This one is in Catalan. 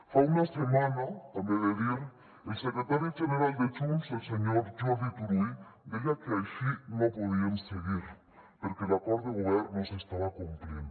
fa una setmana també ho he de dir el secretari general de junts el senyor jordi turull deia que així no podien seguir perquè l’acord de govern no s’estava complint